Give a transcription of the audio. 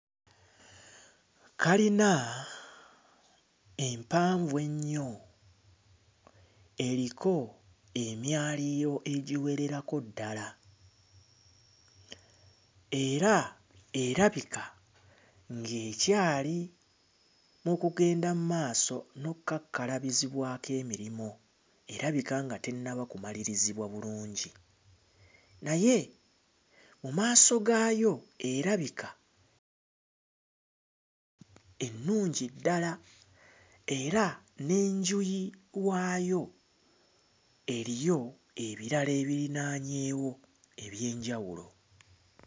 Kalina empanvu ennyo eriko emyaliiro egiwererako ddala era erabika ng'ekyali mu kugenda mmaaso n'okkakkalabizibwako emirimu, erabika nga tennaba kumalirizibwa bulungi naye mu maaso gaayo erabika ennungi ddala era n'enjuyi waayo eriyo ebirala ebirinaanyeewo eby'enjawulo.